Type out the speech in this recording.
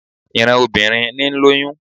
Ìran obìnrin ní ń lóyún